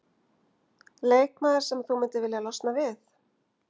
Leikmaður sem þú myndir vilja losna við?